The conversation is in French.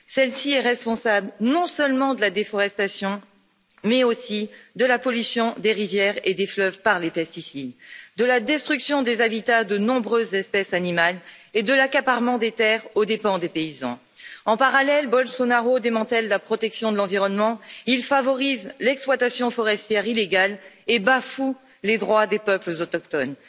Celle ci est responsable, non seulement de la déforestation, mais aussi de la pollution des rivières et des fleuves par les pesticides, de la destruction des habitats de nombreuses espèces animales et de l'accaparement des terres aux dépens des paysans. En parallèle, Bolsonaro démantèle la protection de l'environnement, il favorise l'exploitation forestière illégale et bafoue les droits des peuples autochtones.